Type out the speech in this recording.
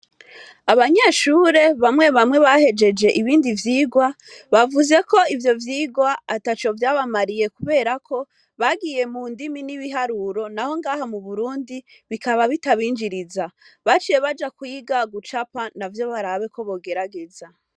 Abanyeshure bamwe bamwe bahejeje ibindi vyigwa bavuze ko ivyo vyigwa ata co vyabamariye kuberako bagiye mu ndimi n'ibiharuro na ho ngaha mu burundi bikaba bitabinjiriza baciye baja kuyiga gucapa na vyo barabeko bogerageza.